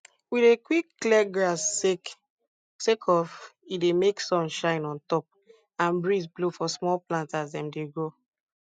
we dey quick clear grass sake of e dey make sun shine on top and breeze blow for small plants as dem dey grow